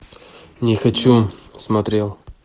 не хочу смотрел